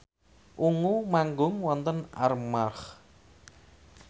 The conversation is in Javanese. Ungu manggung wonten Armargh